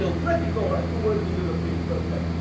They are still critical towards the European project.